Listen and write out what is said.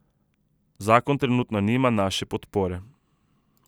Zakon trenutno nima naše podpore.